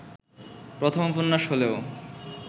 প্রথম উপন্যাস হলেও